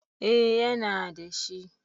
Eh yana da shi